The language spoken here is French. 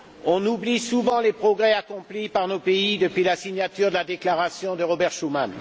On oublie souvent les progrès accomplis par nos pays depuis la signature de la déclaration de Robert Schuman.